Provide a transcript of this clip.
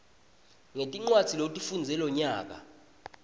ngetincwadzi lotifundze lonyaka